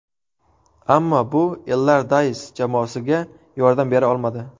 Ammo bu Ellardays jamoasiga yordam bera olmadi.